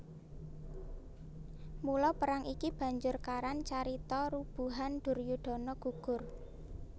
Mula perang iki banjur karan carita Rubuhan Duryudana Gugur